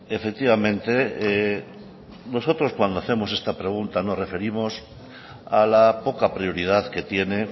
efectivamente nosotros cuando hacemos esta pregunta nos referimos a la poca prioridad que tiene